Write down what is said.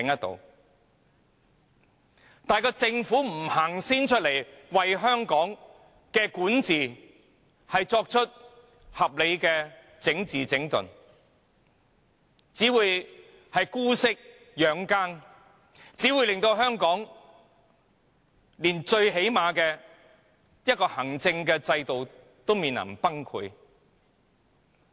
然而，如政府不為香港的管治先向前多走一步，作出合理的整治、整頓，便只會姑息養奸，令香港連最基本的行政制度也面臨崩潰。